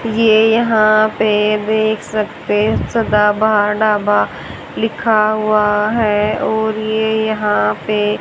ये यहां पे देख सकते सदा बहार ढाबा लिखा हुआ है और ये यहां पे--